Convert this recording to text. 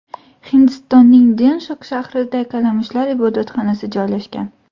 Hindistonning Denshok shahrida kalamushlar ibodatxonasi joylashgan.